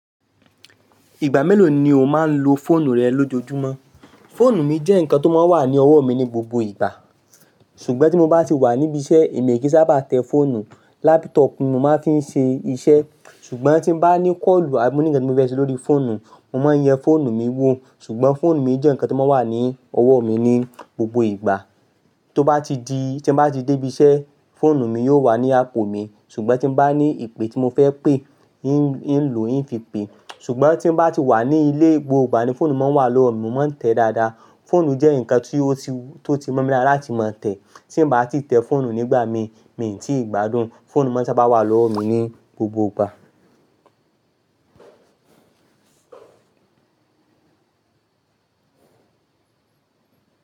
Ìgbà mélòó ni o máa ń lo fóònù rẹ lójoojúmọ́? Fóònù mi jẹ́ nǹkan tó máa ń wà ní ọwọ́ mi ní gbogbo ìgbà. Ṣùgbọ́n tí mo bá ti wà níbi iṣẹ́ èmi e kì n sábà tẹ fóònù. Lápútọ̀pù ni mo máa ń fi ń ṣe iṣẹ́. Ṣùgbọ́n tí mo bá ní kọ́ọ̀lù àbí mo ní ǹkan tí mo fẹ́ ṣe lórí fóònù, mo máa ń yẹ fóònù mi wò. Ṣùgbọ́n fóònù mi jẹ́ nǹkan tó máa ń wà ní ọwọ́ mi ní gbogbo ìgbà. Tí mo bá ti dé ibi iṣẹ́, fóònù mi yóò wà ní apò mi. Ṣùgbọ́n tí mo bá ní ìpè tí mo fẹ́ pè, in ń lò ín fi pè. Ṣùgbọ́n tí mo bá ti wà ní ilé, gbogbo ìgbà ni fóònù máa ń wà lọ́wọ́ mi, mo máa ń tẹ̀ẹ́ dáadáa. Fóònù jẹ́ nǹkan tó ti mó mi láti máa tẹ̀ẹ́. Tí mo bá ti tẹ fóònù nígbà mi, mi ò tí ì gbádùn. Fóònù máa ń sábà wà lọ́wọ́ mi ní gbogbo ìgbà.